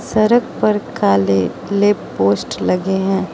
सड़क पर काले लैंप पोस्ट लगे हैं।